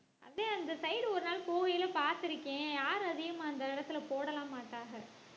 அதான் அந்த side ஒரு நாள் போகயில பார்த்திருக்கேன் யாரும் அதிகமா அந்த இடத்துல போடலாம் மாட்டாங்க